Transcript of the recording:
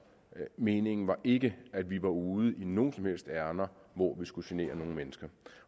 og meningen var ikke at vi var ude i noget som helst ærinde hvor vi skulle genere nogen mennesker